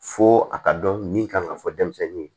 Fo a ka dɔn min kan ka fɔ denmisɛnnin ye